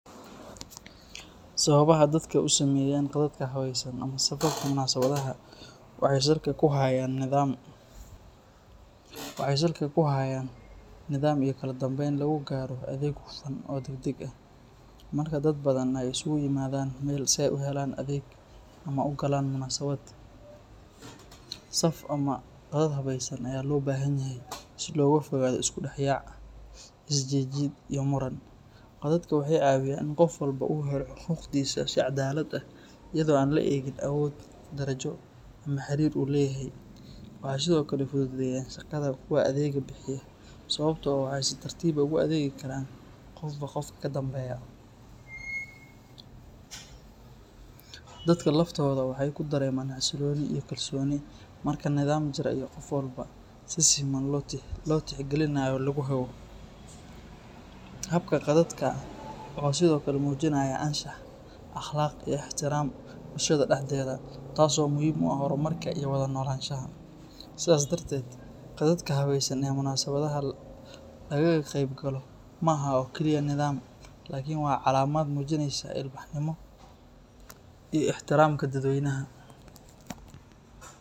Sawabaha dadka usameyan qadadka habeysan ama safarka mudasibadaha waxay salka kuhayan nidaam iyo kaladambeyn lagugaro adeeg hufaan oo dag dag ah, marka dad badan ay iskuuimadan meel si ay uhelan adeeg ama ugagebgalan munasabat, saf ama gaab haweysan aya lobahanyaha si logafogado iskudaxyac, isjijid iyo muran, cododka waxay cawiyan in gofwalbo u heloo hugdisa si cadalad ah, iyado aan laegin awod darajo ama harir leye, waxa sidhokale fududeya shagada kuwa adega bihiya sawabto ah waxa si tartib ah oguadegi karan gofba gofka kadambeya, dadka laftoda waxay kudareman hasiloni iyo kalsoni marka nadaam jira iyo gofwalbo si simaan lotixgalinayo laguhago, habka qadadka wuxu Sidhokale mujinaya anshah aqlaq iyo ihtiraam, bulshada daxdeda taas oo muxiim u ah hormarka iyo wada nokanshaha, sidas tarted qadadka habeysan ee munasabadaha lagagebgalo maaha oo kaliye nidaam lakin wa lacamad mujineysa ilbahnimo iyo ihtiramka dad weynaha.